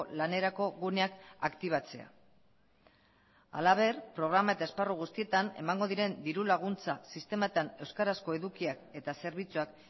lanerako guneak aktibatzea halaber programa eta esparru guztietan emango diren diru laguntza sistematan euskarazko edukiak eta zerbitzuak